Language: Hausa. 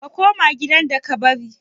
Ka koma gidan da ka bari?